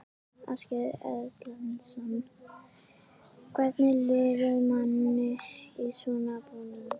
Ásgeir Erlendsson: Hvernig líður manni í svona búning?